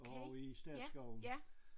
Ovre i statsskoven